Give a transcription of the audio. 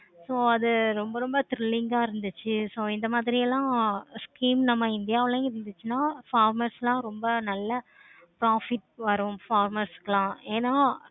so அது ரொம்ப ரொம்ப thirilling ஆஹ் இருந்துச்சி. so இந்த மாதிரி எல்லாம் scheme india உளையும் இருந்துச்சுன்னா formers லாம் ரொம்ப நல்ல profit வரும் famers குலாம் ஏனா?